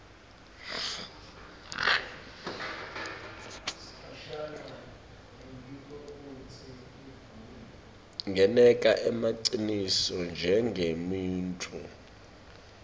ngeneka emaciniso njengemuntfu